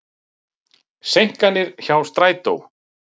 Seinkanir hjá strætó